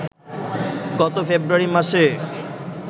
গত ফেব্রুয়ারি মাসে